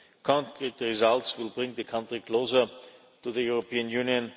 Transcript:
Concrete results will bring the country closer to the European Union.